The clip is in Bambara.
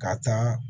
Ka taa